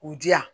U di yan